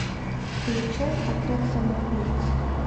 включай отряд самоубийц